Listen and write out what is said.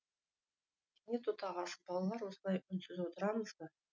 кенет отағасы балалар осылай үнсіз отырамыз ба